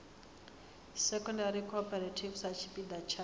secondary cooperative sa tshipiḓa tsha